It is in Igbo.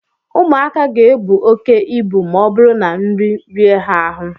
ụmụaka ga-ebu oke ibu ma ọ bụrụ na nri rie ha ahụ